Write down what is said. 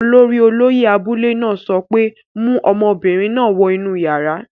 Olórí olóyẹ̀ abúlé náà sọ pé, 'mu ọmọbìnrin náà wọ inú yàrá!